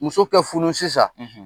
Muso ka furu sisan